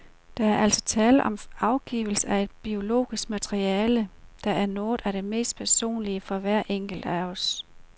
Der er altså tale om afgivelse af et biologisk materiale, der er noget af det mest personlige for hver enkelt af os.